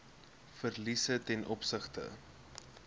verliese ten opsigte